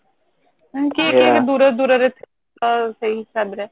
କିଏ କିଏ ଦୂର ଦୂର ରେ ତ ସେଇ ହିସାବ ରେ